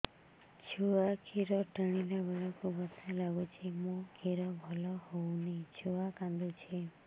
ଛୁଆ ଖିର ଟାଣିଲା ବେଳକୁ ବଥା ଲାଗୁଚି ମା ଖିର ଭଲ ହଉନି ଛୁଆ କାନ୍ଦୁଚି